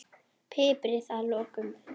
Piprið að lokum.